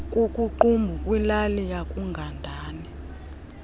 kukuqumbu kwilali yakugandana